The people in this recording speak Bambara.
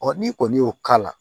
n'i kɔni y'o k'a la